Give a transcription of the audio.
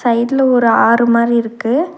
சைடுல ஒரு ஆறு மாரி இருக்கு.